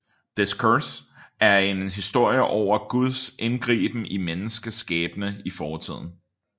Discours er en historie over Guds indgriben i menneskets skæbne i fortiden